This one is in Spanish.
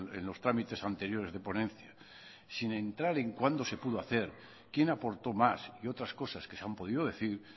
en los trámites anteriores de ponencia sin entrar en cuándo se pudo hacer quién aportó más y otras cosas que se han podido decir